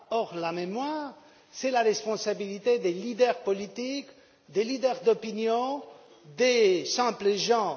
Or, la mémoire est la responsabilité des leaders politiques, des leaders d'opinion et des simples gens.